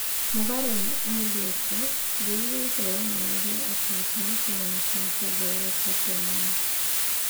Mũgarũ na airetu, ũthuthuria ũcio wonanirie atĩ gĩkeno kĩa anake nĩ kĩongererekete mũno.